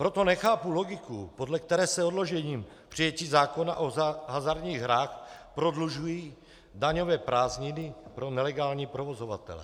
Proto nechápu logiku, podle které se odložením přijetí zákona o hazardních hrách prodlužují daňové prázdniny pro nelegální provozovatele.